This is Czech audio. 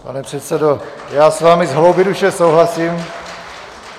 Pane předsedo, já s vámi z hloubi duše souhlasím.